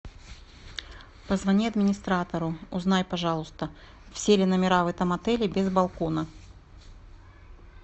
позвони администратору узнай пожалуйста все ли номера в этом отеле без балкона